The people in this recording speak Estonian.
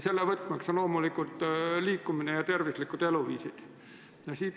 Selle võtmeks on loomulikult liikumine ja tervislikud eluviisid.